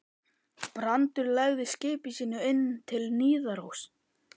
Brandur lagði skipi sínu inn til Niðaróss.